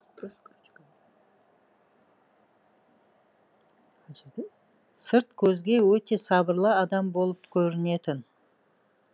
сырт көзге өте сабырлы адам болып көрінетін